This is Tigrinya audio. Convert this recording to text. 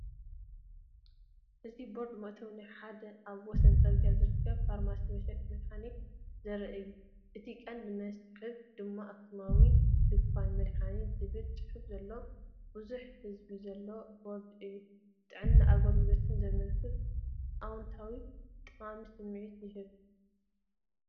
እዚ ቦርድን መእተዊ ናብ ሓደ ኣብ ወሰን ጽርግያ ዝርከብ ፋርማሲ/መሸጢ መድሃኒትን ዘርኢ እዩ። እቲ ቀንዲ መስሕብ ድማ "ኣክሱማዊት ድኳን መድሃኒት" ዝብል ጽሑፍ ዘለዎ ብዙሕ ሕብሪ ዘለዎ ቦርድ እዩ። ጥዕናን ኣገልግሎትን ዘመልክት ኣወንታዊን ጠቓምን ስምዒት ይህብ።